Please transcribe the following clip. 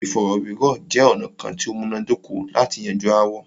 Ìfọ̀rọ̀wérọ̀ jẹ́ ọ̀nà kán tí o múná dóko lati yanju aáwọ̀.